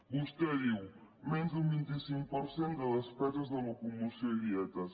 vostè diu menys d’un vint cinc per cent de despeses de locomoció i dietes